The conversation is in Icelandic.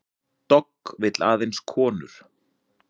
Dogg vill aðeins konur